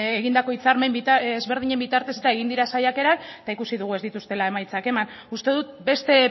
egindako hitzarmen ezberdinen bitartez eta egin diren saiakerak eta ikusi dugu ez dituztela emaitzak eman uste dut beste